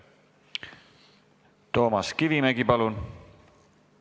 Toomas Kivimägi, palun!